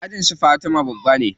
Ajin su fatima babba ne.